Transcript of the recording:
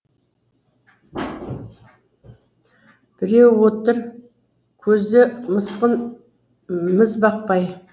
біреуі отыр көзде мысқыл міз бақпай